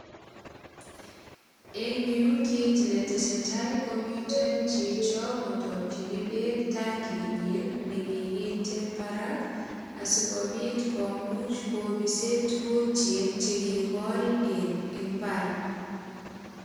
Eng yu, kit netesetai ko miten chicho kotakyini beek tanginyin ne kiginte barak asigopit komuch kopise tugukyik che kigol en imbar.